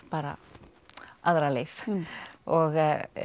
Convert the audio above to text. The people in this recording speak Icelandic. bara aðra leið og